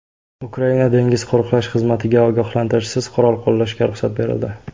Ukraina dengiz qo‘riqlash xizmatiga ogohlantirishsiz qurol qo‘llashga ruxsat berildi.